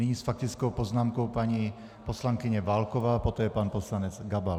Nyní s faktickou poznámkou paní poslankyně Válková, poté pan poslanec Gabal.